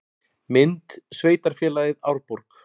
Mynd: Sveitarfélagið Árborg